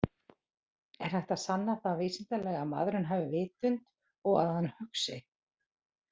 Er hægt að sanna það vísindalega að maðurinn hafi vitund og að hann hugsi?